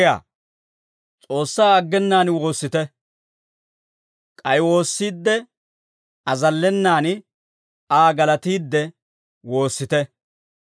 S'oossaa aggenaan woossite; k'ay woossiidde azallenan, Aa galatiidde woossite.